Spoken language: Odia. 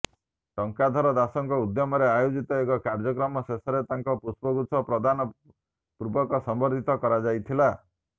ଟଙ୍କଧର ଦାସଙ୍କ ଉଦ୍ୟମରେ ଆୟୋଜିତ ଏହି କାର୍ଯ୍ୟକ୍ରମ ଶେଷରେ ତାଙ୍କୁ ପୁଷ୍ପଗୁଚ୍ଛ ପ୍ରଦାନ ପୂର୍ବକ ସମ୍ବର୍ନ୍ଧିତ କରାଯାଇଥିଲା